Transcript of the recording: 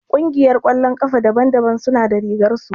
Ƙungiyar ƙwallon ƙafa daban daban suna da rigar su